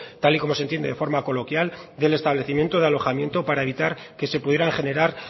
tal y como se entiende de forma coloquial del establecimiento de alojamiento para evitar que se pudieran generar